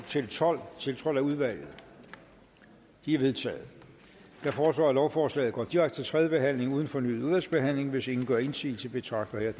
tolv tiltrådt af udvalget de er vedtaget jeg foreslår at lovforslaget går direkte til tredje behandling uden fornyet udvalgsbehandling hvis ingen gør indsigelse betragter jeg